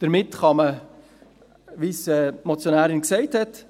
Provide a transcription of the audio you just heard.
» Damit kann man, wie es die Motionärin gesagt hat,